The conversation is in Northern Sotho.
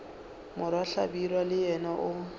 morwa hlabirwa le yena o